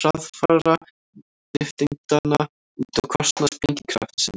hraðfara nifteindanna út á kostnað sprengikraftsins